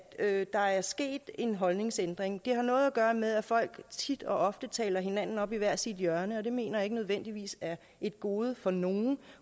at der er sket en holdningsændring det har noget at gøre med at folk tit og ofte taler hinanden op i hvert sit hjørne og det mener jeg ikke nødvendigvis er et gode for nogen